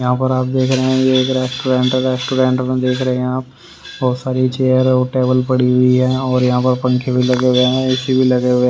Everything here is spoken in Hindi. यहां पर आप देख रहे हैं ये रेस्टोरेंट है रेस्टोरेंट में देख रहे हैं आप बहुत सारी चेयर और टेबल पड़ी हुई है और यहां पर पंखे भी लगे हुए हैं ए_सी भी लगे हुए है।